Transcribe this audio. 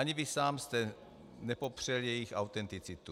Ani vy sám jste nepopřel jejich autenticitu.